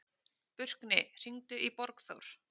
Burkni, hringdu í Borgþór.